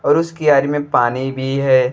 और उस कियारी में पानी बी है।